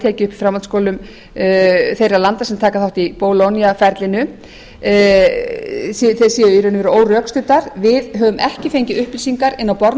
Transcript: tekið upp í framhaldsskólum þeirra landa sem taka þátt í bologna ferlinu séu í raun og veru órökstuddar við höfum ekki fengið upplýsingar inn á borð